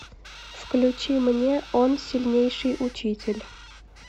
включи мне он сильнейший учитель